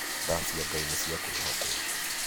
Tha cia ngai nĩ cia kwĩhokwo